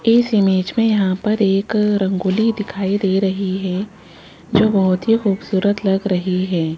इस इमेज में यहां पर एक रंगोली दिखाई दे रही है जो बहोत ही खूबसूरत लग रही है।